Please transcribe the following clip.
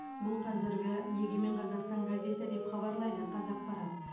бұл қазіргі егемен қазақстан газеті деп хабарлайды қазақпарат